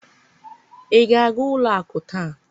ị ga-aga ụlọ akụ taa?